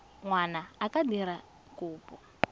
ngwana a ka dira kopo